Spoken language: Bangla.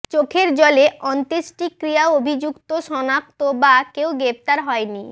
চোখের জলে অন্ত্যেষ্টিক্রিয়া অভিযুক্ত শনাক্ত বা কেউ গ্রেপ্তার হয়নি